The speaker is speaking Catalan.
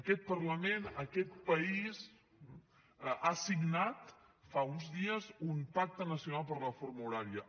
aquest parlament aquest país ha signat fa uns dies un pacte nacional per la reforma horària